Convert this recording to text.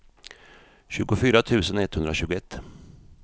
tjugofyra tusen etthundratjugoett